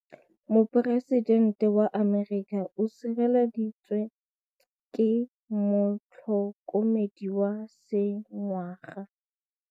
Poresitêntê wa Amerika o sireletswa ke motlhokomedi wa sengaga.